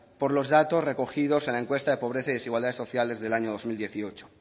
por los datos recogidos en la encuesta de pobreza y desigualdades sociales del año dos mil dieciocho